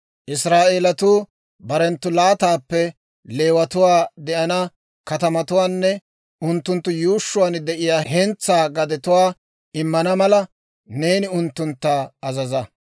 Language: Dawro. «Israa'eelatuu barenttu laataappe Leewatuwaa de'ana katamatuwaanne unttunttu yuushshuwaan de'iyaa hentsaa gadetuwaa immana mala, neeni unttuntta azaza.